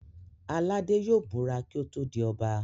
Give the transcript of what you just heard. Aládé yóò búra kí ó tó di Ọba